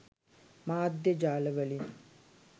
මාධ්‍ය ජාල වලින්.